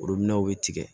bɛ tigɛ